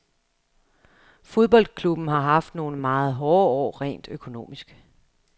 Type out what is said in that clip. Fodboldklubben har haft nogle meget hårde år rent økonomisk.